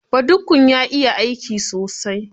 Badukkun ya iya aiki sosai